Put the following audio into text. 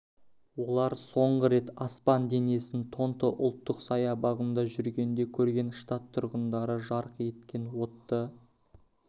олар соңғы рет аспан денесін тонто ұлттық саябағында жүргенде көрген штат тұрғындары жарқ еткен отты